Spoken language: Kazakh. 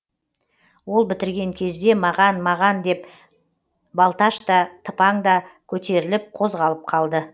ол бітірген кезде маған маған деп балташ та тыпаң да көтеріліп қозғалып қалды